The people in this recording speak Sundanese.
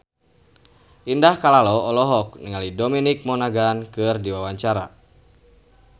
Indah Kalalo olohok ningali Dominic Monaghan keur diwawancara